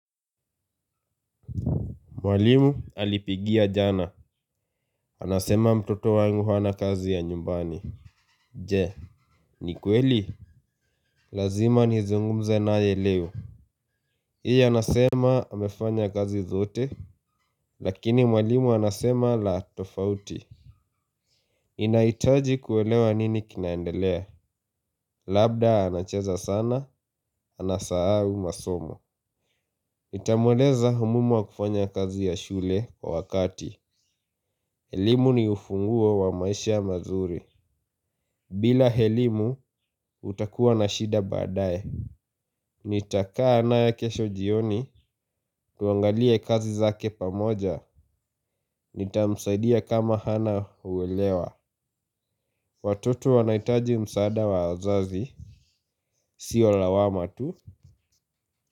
Mwalimu alipigia jana, anasema mtoto wangu hana kazi ya nyumbani. Je, ni kweli? Lazima nizungumze naye leo pia anasema amefanya kazi zote, lakini mwalimu anasema la tofauti. Inahitaji kuelewa nini kinaendelea, labda anacheza sana, anasahau masomo nitamweleza umuhimu wa kufanya kazi ya shule kwa wakati. Elimu ni ufunguo wa maisha mazuri. Bila elimu utakuwa na shida baadaye. Nitakaa naye kesho jioni tuangalie kazi zake pamoja. Nitamsaidia kama hana uelewa. Watoto wanahitaji msaada wa wazazi. Sio lawama tu.